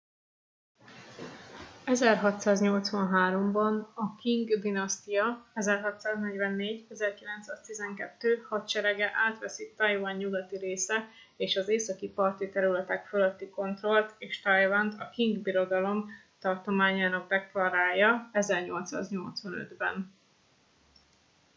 1683-ban a qing dinasztia 1644-1912 hadserege átveszi taiwan nyugati része és az északi parti területek fölötti kontrollt és taiwant a qing birodalom tartományának deklarálja 1885-ben